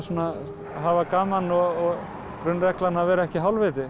hafa gaman og grunnreglan að vera ekki hálfviti